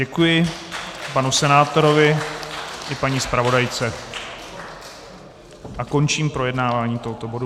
Děkuji panu senátorovi i paní zpravodajce a končím projednávání tohoto bodu.